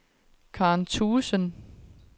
Karen Thuesen